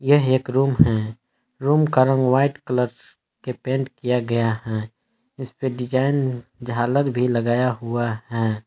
यह एक रूम है रूम का रंग वाइट कलर्स के पेंट किया गया है इस पे डिजाइन झालर भी लगाया हुआ है।